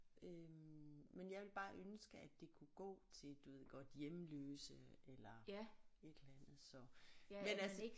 Øh men jeg ville bare ønske at det kunne gå til du ved godt hjemløse eller et eller andet så men altså